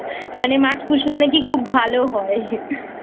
মানে মাছ পুষলে নাকি খুব ভালো হয়I